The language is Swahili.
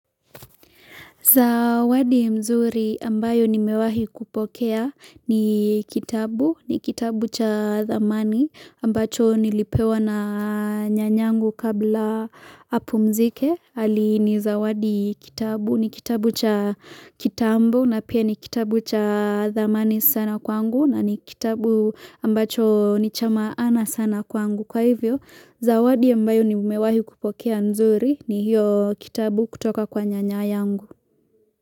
Zawadi mzuri ambayo nimewahi kupokea ni kitabu, ni kitabu cha dhamani ambacho nilipewa na nyanyangu kabla apu mzike. Alini zawadi kitabu, ni kitabu cha kitambo na pia ni kitabu cha dhamani sana kwangu na ni kitabu ambacho nichamaana sana kwangu. Kwa hivyo, zawadi ambayo nimewahi kupokea mzuri ni hiyo kitabu kutoka kwa nyanya yangu.